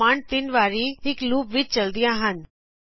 ਇਹ ਕਮਾਂਡਜ਼ ਤਿੰਨ ਵਾਰੀ ਇਕ ਲੂਪ ਵਿਚ ਚਲਦਿਆਂ ਹਨ